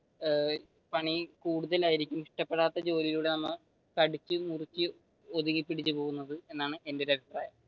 ഏർ പണി കൂടുതലായിരിക്കും ഇഷ്ടപെടാത്ത ജോലിയോട് നമ്മൾ കടിച്ചു മുറിച് ഒതുങ്ങി പിടിച്ചുപോകുന്നത് എന്നാണ് എന്റെ ഒരു അഭിപ്രായം.